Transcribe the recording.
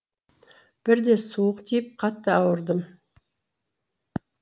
бірде суық тиіп қатты ауырдым